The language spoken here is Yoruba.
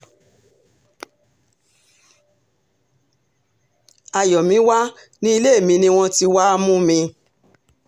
àyọ̀míwà ní ilé mi ni wọ́n ti wáá mú mi